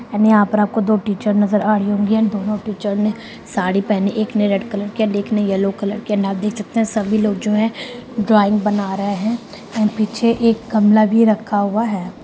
यानी यहाँ पर आपको दो टीचर नज़र आ रही होंगी एंड दोनों टीचर ने साड़ी पहनी है एक ने रेड कलर की एंड एक ने येलो कलर के एंड आप देख सकते हैं सभी लोग जो हैं ड्राइंग बना रहा है एंड पीछे एक गमला भी रखा हुआ है।